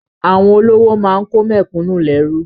Àwọn olówó máa kó àwọn mẹ̀kúnnù lẹ́rú.